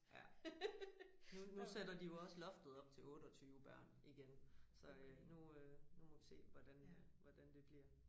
Ja nu nu sætter de jo også loftet op til 28 børn igen så nu øh nu må vi se hvordan øh hvordan det bliver